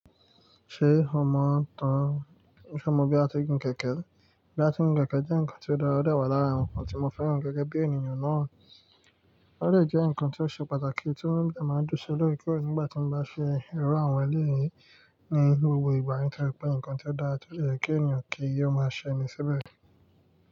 Ṣé o mọ̀ tán Ṣé o mọ bí à tí gun kẹ̀kẹ́? Bí a ti ń gun kẹ̀kẹ́ jẹ́ nǹkan tí ó dára, ó dẹ̀ wà lára nǹkan tí mo fẹ́ràn gẹ́gẹ́ bí ènìyàn náà. Ó dẹ̀ jẹ́ nǹkan tí ó ṣe pàtàkì tí ó máa ń dùn sí lóòrèkóòrè nígbà tí mo bá ṣe irú àwọn eléyìí ní gbogbo ìgbà yẹn torí pé nǹkan tí ó dára tó lè jẹ́ kí ènìyàn kí ó máa ṣe ni síbẹ̀.